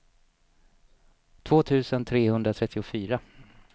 två tusen trehundratrettiofyra